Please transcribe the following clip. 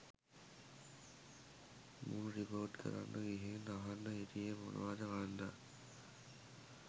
මුන් රිපෝට් කරන්න ගිහින් අහන් හිටියෙ මොනවද මන්දා.